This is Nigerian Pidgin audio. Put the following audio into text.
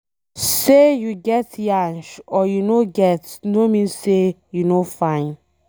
Say you get yansh or you no get no mean say you no fine